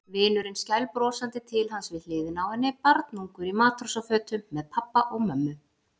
Vinurinn skælbrosandi til hans við hliðina á henni, barnungur í matrósafötum með pabba og mömmu.